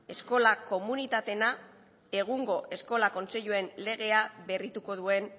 eskola komunitateen egungo eskola kontseiluen legea berrituko duen